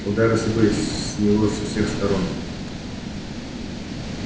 удары сыпались с него со всех сторон